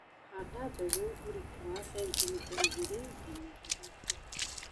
handa mbegũ ũrikũ wa centimita igĩrĩ nginys ithatũ.